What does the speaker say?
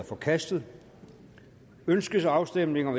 forkastet ønskes afstemning om